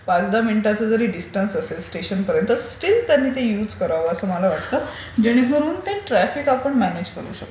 पाच दहा मिनिटांच जरी दिसटन्स असेल स्टेशनपर्यन्त स्टील त्यांनी ते युज कराव असं मला वाटते. जेणेकरून ते ट्राफिक आपण म्यानेज करू शकू.